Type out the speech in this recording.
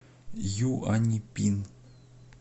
юаньпин